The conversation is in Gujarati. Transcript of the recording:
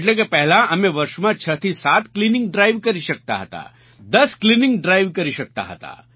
એટલે કે પહેલાં અમે વર્ષમાં 6થી 7 ક્લીનિંગ ડ્રાઇવ કરી શકતા હતા 10 ક્લીનિંગ ડ્રાઇવ કરી શકતા હતા